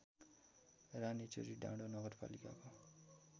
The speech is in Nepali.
रानीचुरी डाँडो नगरपालिकाको